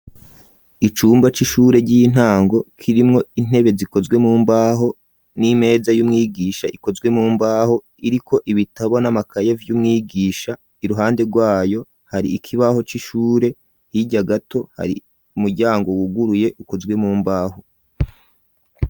Icumba c'ishure ry'intango kirimwo intebe zikozwe mu mbaho n'imeza y'umwigisha ikozwe mu mbaho iriko ibitabona n'amakaye vy'umwigisha iruhande rwayo hari ikibaho c'ishure hirya gato hari umuryango wuguruye ukozwe mu mbaho.